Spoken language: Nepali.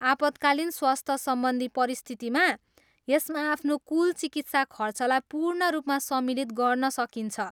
आपतकालीन स्वस्थ सम्बन्धी परिस्थितिमा, यसमा आफ्नो कुल चिकित्सा खर्चलाई पूर्ण रूपमा सम्मिलित गर्न सकिन्छ।